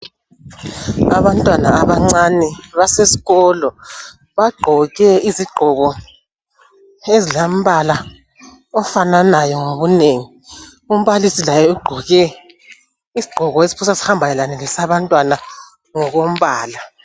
Abantwana abancane baseskolo, bagqoke izigqoko ezilambala ofananayo ngobunengi. Umbalisi laye ugqoke isigqoko esiphosa sihambelane lesabantwana ngokombala.